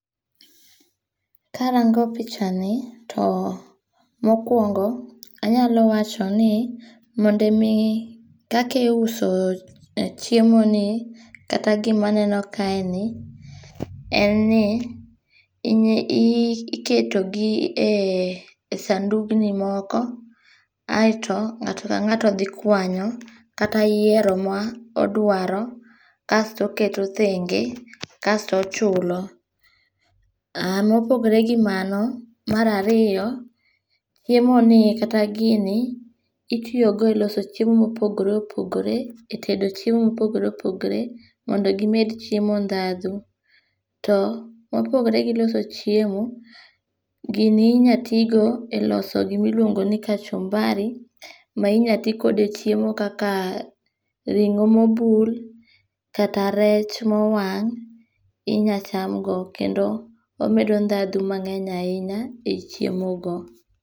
Karango pichani, to mokwongo anyalo wacho ni mondo omi kakiuso chiemoni, kata gimaneno kaeni, en ni iketogi e sandugni moko, aeto ng'ato ka ng'ato dhi kwanyo kata yiero ma odwaro kasto oketo thenge, kasto ochulo. Mopogre gi mano, mar ariyo, chiemoni kata gini itiyogo e loso chiemo mopogore opogore,e tedo chiemo mopogore opogore mondo gimed chiemo ndhadhu. To ,mopogore gi loso chiemo, gini inya tigo e loso gimiluongo ni kachumbari ma inya ti kode e chiemo kaka ring'o mobul, kata rech mowang' inya chamgo. Kendo omedo ndhadhu mang'eny ahinya e chiemo.